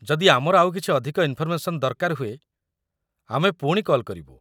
ଯଦି ଆମର ଆଉ କିଛି ଅଧିକ ଇନ୍‌ଫର୍‌ମେସନ୍ ଦରକାର ହୁଏ, ଆମେ ପୁଣି କଲ୍ କରିବୁ।